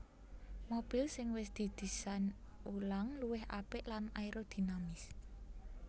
Mobil sing wis didésain ulang luwih apik lan aerodinamis